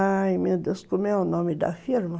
Ai, meu Deus, como é o nome da firma?